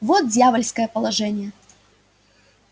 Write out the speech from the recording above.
вот дьявольское положение